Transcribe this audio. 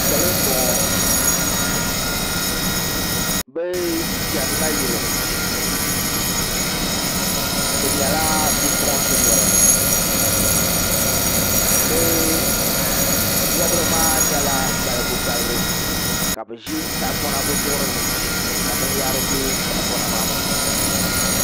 Salo n bɔŋɔ bi chɛni nayili bi nyɛla bipuɣunsi noli bi bobri maa nyɛla balibu balibu ka bi ʒi tahapona bi zuɣuri ni ka binyahari bɛ tahapona maa puuni